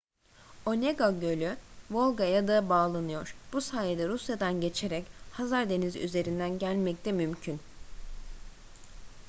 onega gölü volga'ya da bağlanıyor bu sayede rusya'dan geçerek hazar denizi üzerinden gelmek de mümkün